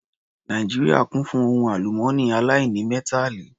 Nàìjíríà kún fún ohun àlùmọ́nì aláìnímẹ́tàlì